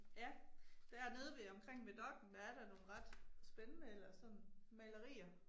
Ja. Dernede ved omkring ved Dokk1 der er da nogle ret spændende eller sådan malerier